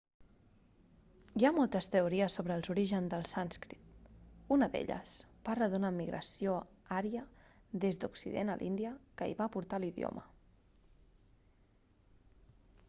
hi ha moltes teories sobre els orígens del sànscrit una d'elles parla d'una migració ària des d'occident a l'índia que hi va portar l'idioma